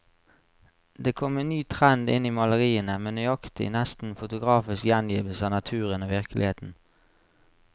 Det kom en ny trend inn i maleriene, med nøyaktig, nesten fotografisk gjengivelse av naturen og virkeligheten.